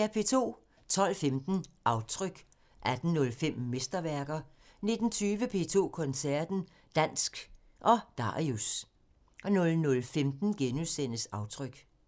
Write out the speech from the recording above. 12:15: Aftryk 18:05: Mesterværker 19:20: P2 Koncerten – Dansk og Darius 00:15: Aftryk *